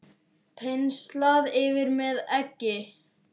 Penslað yfir með eggi.